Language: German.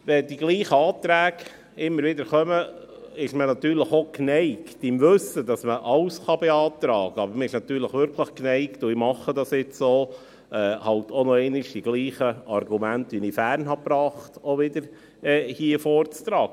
Wenn dieselben Anträge immer wieder kommen, ist man natürlich auch geneigt – im Wissen darum, dass man alles beantragen kann –, nochmals dieselben Argumente wie im vorangehenden Jahr vorzubringen.